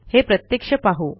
हे प्रत्यक्ष पाहू